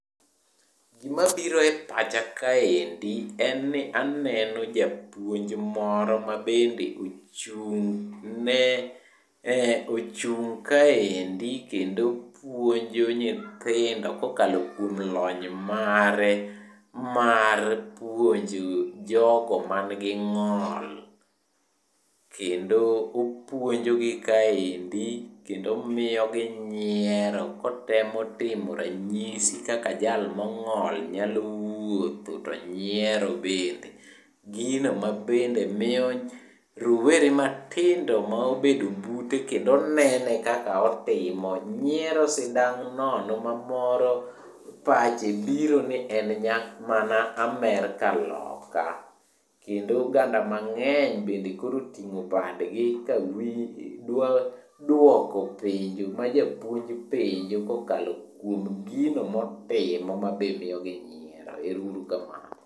Gima biro e pacha kaendi, en ni aneno japuonj moro ma bende ochung' kaendi kendo puonjo nyithindo kokalo kuom lony mare, mar puonjo jogo mangi ng'ol. Kendo opuonjo gi kaendi, kendo omiyogi nyiero kotemo timo ranyisi kaka jal mong'ol nyalo wuotho to nyiero bende. Gino ma bende miyo rowere matindo maobedo bute kendo nene kaka otimo nyiero sidang' nono ma moro pache birone en mana Amerka loka. Kendo oganda mang'eny bende koro oting'o badgi ka dwa duoko penjo ma japuonj penjo kokalo kuom gino motimo mabe miyo gi nyiero. Ero uru kamano.